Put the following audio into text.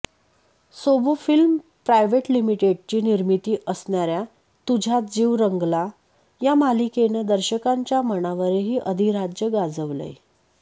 सोबो film private लिमिटेडची निर्मीती असणाऱ्या तुझ्यात जीव रंगाला या मालिकेनं दर्शकांच्या मनावरही अधिराज्य गाजवलंय